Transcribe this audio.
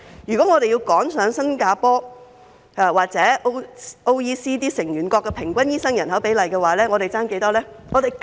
如果我們要趕上新加坡或 OECD 成員國的平均醫生對人口比例，我們尚欠多少醫生？